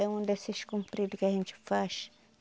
É um desses compridos que a gente faz.